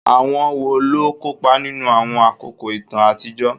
Àwọn wo ló kópa nínú àwọn àkókò ìtàn àtijọ́?